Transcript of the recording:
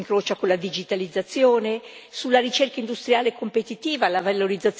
sulla ricerca industriale e competitiva, la valorizzazione delle eccellenze tecnologiche, ecc.